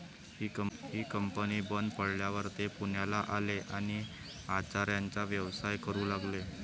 ही company बंद पडल्यावर ते पुण्याला आले आणि आचाऱ्याचा व्यवसाय करू लागले.